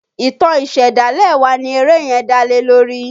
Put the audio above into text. Ìtàn ìṣẹ̀dálẹ̀ wa ni eré yẹn dá lé lórí.